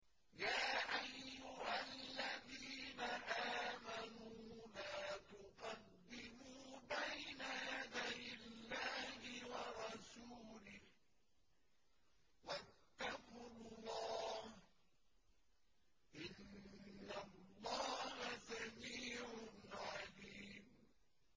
يَا أَيُّهَا الَّذِينَ آمَنُوا لَا تُقَدِّمُوا بَيْنَ يَدَيِ اللَّهِ وَرَسُولِهِ ۖ وَاتَّقُوا اللَّهَ ۚ إِنَّ اللَّهَ سَمِيعٌ عَلِيمٌ